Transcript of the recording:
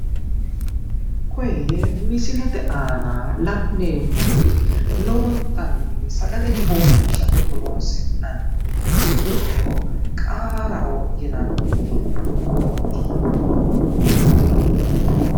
Kuri misilete aana la'neemmori lowontanni dagale coommishate horonsi'nanniri giddo qaaraho yinanni murooti.